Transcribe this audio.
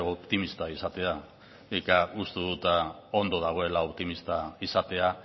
optimista izatea nik uste dut ondo dagoela optimista izatea